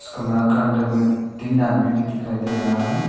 कमरा के अंदर में तीन आदमी भी दिखाई दे रहा है।